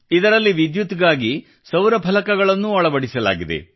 ಇದರಲ್ಲಿ ವಿದ್ಯುತ್ಗಾಗಿ ಸೌರ ಫಲಕಗಳನ್ನೂ ಅಳವಡಿಸಲಾಗಿದೆ